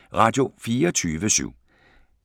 Radio24syv